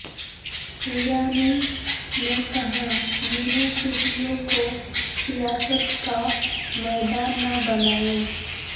ایرانی نے کہا یونیورسٹیوں کو سیاست کا میدان نہ بنائے